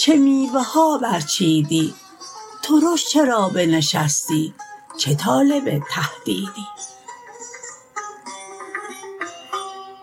چه میوه ها برچیدی ترش چرا بنشستی چه طالب تهدیدی